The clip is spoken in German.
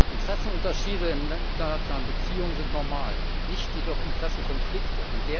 Interessenunterschiede in internationalen Beziehungen sind normal, nicht jedoch Interessenkonflikte.